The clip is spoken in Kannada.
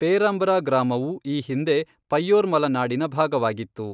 ಪೇರಾಂಬ್ರಾ ಗ್ರಾಮವು ಈ ಹಿಂದೆ 'ಪಯ್ಯೋರ್ಮಲ ನಾಡಿನ' ಭಾಗವಾಗಿತ್ತು.